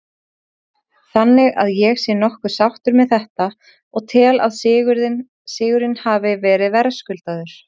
Þannig að ég er nokkuð sáttur með þetta og tel að sigurinn hafi verið verðskuldaður.